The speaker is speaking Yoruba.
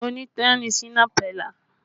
Onídán ni Shina Pellar